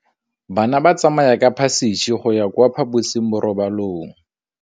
Bana ba tsamaya ka phašitshe go ya kwa phaposiborobalong.